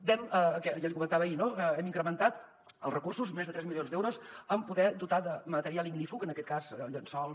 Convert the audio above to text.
ja l’hi comentava ahir no hem incrementat els recursos més de tres milions d’euros per poder dotar de material ignífug en aquest cas llençols